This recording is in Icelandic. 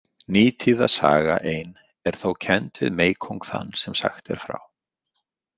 Nítíða saga ein er þó kennd við meykóng þann sem sagt er frá.